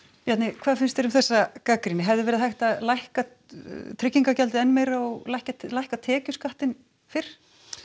hvað finnst þér um þessa gagnrýni hefði verið hægt að lækka tryggingagjaldið enn meira og lækka lækka tekjuskattinn fyrr